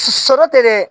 Sɔrɔ tɛ dɛ